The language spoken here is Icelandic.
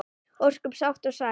Ósköp sátt og sæl.